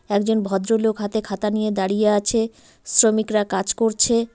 একজন ভদ্রলোক হাতে খাতা নিয়ে দাঁড়িয়ে আছে শ্রমিকরা কাজ করছে।